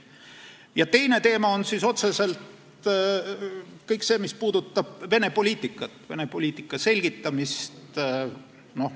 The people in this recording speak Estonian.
Ja teine teema on kõik see, mis puudutab otseselt Vene poliitikat ja Vene poliitika selgitamist.